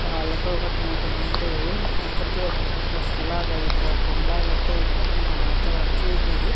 రాళ్ళతో కట్టినటువంటి ఒకటి ఒకటి అంతస్తులాగా ఈ గోపురం లాగా అయితే గమనించవచ్చు. ఇది --